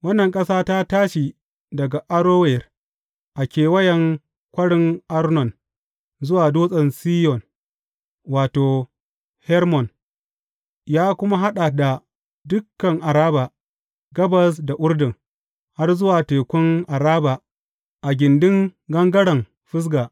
Wannan ƙasa ta tashi daga Arower a kewayen Kwarin Arnon zuwa Dutsen Siyon wato, Hermon, ya kuma haɗa da dukan Araba gabas da Urdun, har zuwa tekun Araba a gindin gangaren Fisga.